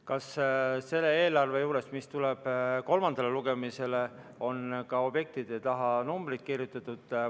Kas selles eelarves, mis tuleb kolmandale lugemisele, on ka objektide taha numbreid kirjutatud?